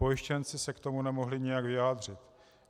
Pojištěnci se k tomu nemohli nijak vyjádřit.